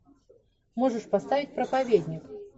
можешь поставить проповедник